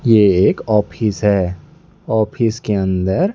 यह एक ऑफिस है ऑफिस के अंदर--